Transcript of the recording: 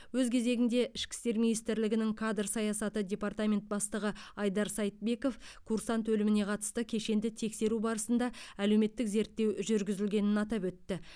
өз кезегінде ішкі істер министрлігнің кадр саясаты департаментінің бастығы айдар сайтбеков курсант өліміне қатысты кешенді тексеру барысында әлеуметтік зерттеу жүргізілгенін атап өтті